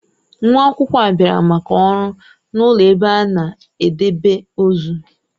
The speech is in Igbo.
Nwa akwụkwọ a bịara maka ọrụ n'ụlọ ebe a na-edebe ozu.